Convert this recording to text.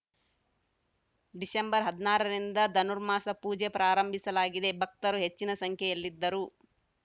December ಹದಿನಾರರಿಂದ ಧನುರ್ಮಾಸ ಪೂಜೆ ಪ್ರಾರಂಭಿಸಲಾಗಿದೆ ಭಕ್ತರು ಹೆಚ್ಚಿನ ಸಂಖ್ಯೆಯಲ್ಲಿದ್ದರು